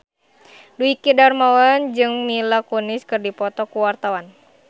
Dwiki Darmawan jeung Mila Kunis keur dipoto ku wartawan